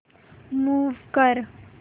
move कर